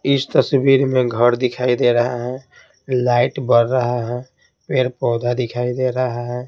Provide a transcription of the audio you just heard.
इस तस्वीर में घर दिखाई दे रहा है लाइट बढ़ रहा है पेड़ पौधा दिखाई दे रहा है।